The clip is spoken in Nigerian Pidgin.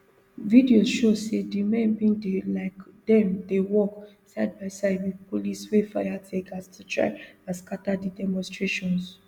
videos show say di men bin dey like dem dey work sidebyside wit police wey fire teargas to try and scata di demonstrations